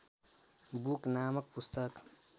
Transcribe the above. book नामक पुस्तक